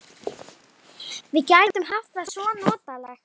Við gætum haft það svo notalegt.